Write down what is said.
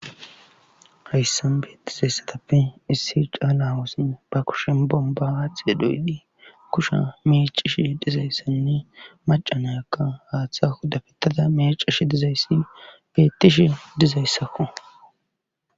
hayssan beettizayssatappe issi caalaawusn ba kushen bomba aaxi doydi kusha mecishi dizayssanne macanayakka haaththa huddafetada mecish dizayssi beettishi dizayssakku